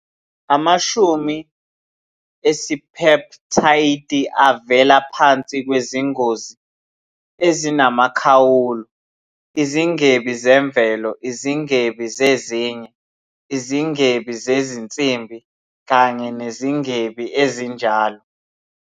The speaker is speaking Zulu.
Amashumi esipeptayidi avela phansi kwezingozi ezinamkhawulo, izingebi zemvelo, izingebi zezinye, izingebi zezinsimbi, kanye nezingebi ezinjalo.